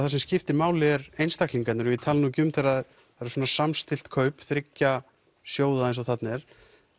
það sem skiptir máli er einstaklingarnir og ég tala nú ekki um þegar það eru svona samstillt kaup þriggja sjóða eins og þarna er